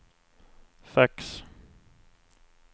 fax